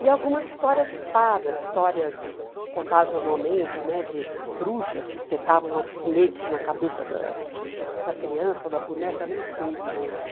E algumas histórias de fadas, histórias contadas normalmente né, de bruxas que espetavam alfinetes na cabeça da da criança ou da boneca, eu nem sei direito.